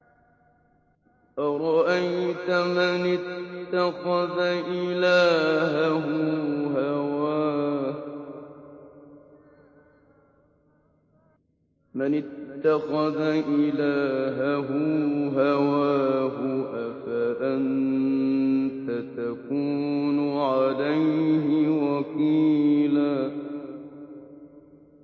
أَرَأَيْتَ مَنِ اتَّخَذَ إِلَٰهَهُ هَوَاهُ أَفَأَنتَ تَكُونُ عَلَيْهِ وَكِيلًا